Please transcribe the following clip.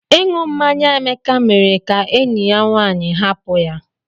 Inu mmanya Emeka mere ka enyi ya nwanyị hapụ ya.